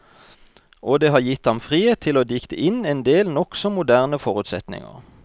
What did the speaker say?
Og det har gitt ham frihet til å dikte inn endel nokså moderne forutsetninger.